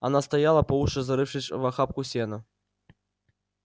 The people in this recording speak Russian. она стояла по уши зарывшись в охапку сена